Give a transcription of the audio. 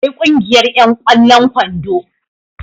akwai Kungiyar yan ƙwallon kwando